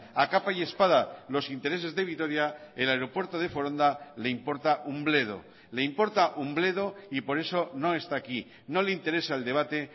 a capa y espada los intereses de vitoria el aeropuerto de foronda le importa un bledo le importa un bledo y por eso no está aquí no le interesa el debate